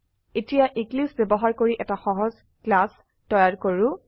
এতিয়া এক্লিপছে ব্যবহাৰ কৰি এটা সহজ ক্লাছ তৈয়াৰ কৰো